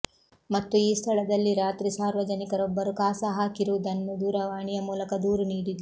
ಮತ್ತು ಈ ಸ್ಥಳದಲ್ಲಿ ರಾತ್ರಿ ಸಾರ್ವಜನಿಕರೊಬ್ಬರು ಕಾಸ ಹಾಕಿರುದನ್ನು ದೂರವಾಣಿಯ ಮೂಲಕ ದೂರು ನೀಡಿದ್ದು